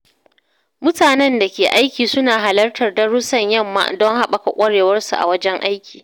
Mutanen da ke aiki suna halartar darussan yamma don haɓaka ƙwarewarsu a wajen aiki.